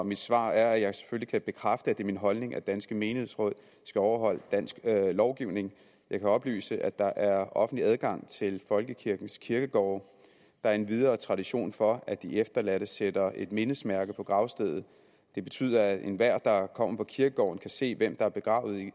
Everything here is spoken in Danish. mit svar er at jeg selvfølgelig kan bekræfte at det er min holdning at danske menighedsråd skal overholde dansk lovgivning jeg kan oplyse at der er offentlig adgang til folkekirkens kirkegårde der er endvidere tradition for at de efterladte sætter et mindesmærke på gravstedet det betyder at enhver der kommer på kirkegården kan se hvem der er begravet